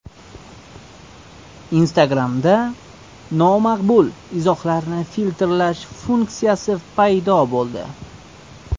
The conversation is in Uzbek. Instagram’da nomaqbul izohlarni filtrlash funksiyasi paydo bo‘ldi.